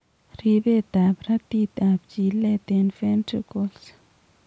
Ribeet ab ratit ab chileet eng' ventricles